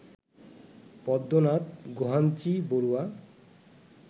Padmanath Gohainbarua